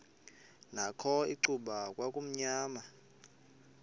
nakho icuba kwakumnyama